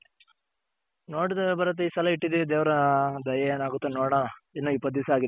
ಭರತ್ ಇ ಸಲ ಇಟ್ಟಿದಿವಿ ದೇವ್ರ ದಯೆ ಏನಾಗುತ್ತೋ ನೋಡೋಣ ಇನ್ನ ಇಪ್ಪತ್ ದಿಸ ಆಗಿದೆ .